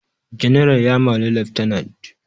General ya mari lieutenant